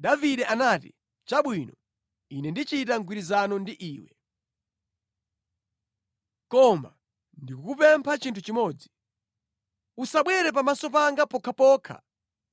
Davide anati, “Chabwino. Ine ndichita mgwirizano ndi iwe. Koma ndikukupempha chinthu chimodzi: Usabwere pamaso panga pokhapokha